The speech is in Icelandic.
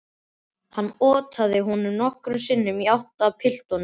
Hann otaði honum nokkrum sinnum í áttina að piltinum.